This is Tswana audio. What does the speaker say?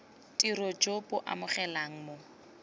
tiro jo bo amogelegang mo